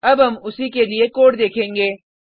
अब हम उसी के लिए कोड देखेंगे